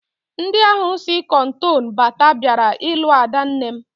Ndị ahụ si Cotonou bata bịara ilu adanne m